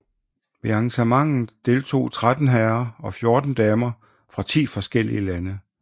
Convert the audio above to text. Ved arrangementet deltog 13 herrer og 14 damer fra 10 forskellige lande